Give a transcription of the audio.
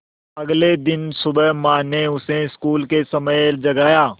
अगले दिन सुबह माँ ने उसे स्कूल के समय पर जगाया